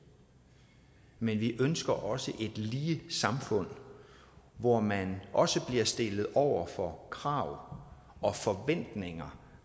men vi ønsker også et lige samfund hvor man også bliver stillet over for krav og forventninger